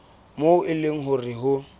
moo e leng hore ho